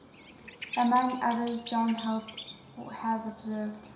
among others john heath has observed